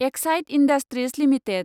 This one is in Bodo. Exide Industries limited